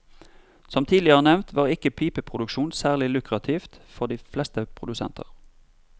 Som tidligere nevnt var ikke pipeproduksjon særlig lukrativt for de fleste produsenter.